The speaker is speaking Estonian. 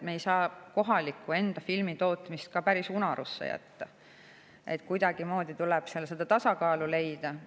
Me ei saa enda kohalikku filmitootmist ka päris unarusse jätta, kuidagimoodi tuleb seda tasakaalu leida.